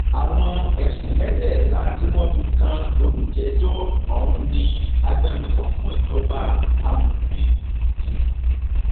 àwọn ẹsùn mẹtẹẹta tí wọn fi kan olùjẹjọ ọhún ni agbẹnusọ fún ìjọba amòfin d